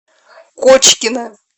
кочкина